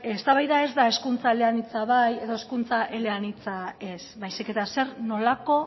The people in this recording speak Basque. eztabaida ez da hezkuntza eleanitza bai edo hezkuntza eleanitza ez baizik eta zer nolako